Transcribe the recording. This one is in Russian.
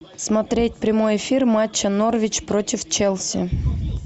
смотреть прямой эфир матча норвич против челси